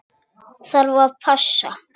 Ég þarf að passa.